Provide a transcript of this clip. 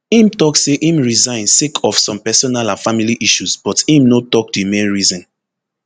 im tok say im resign sake of some personal and family issues but im no tok di main reason